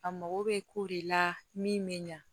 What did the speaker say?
A mago bɛ kow de la min bɛ ɲa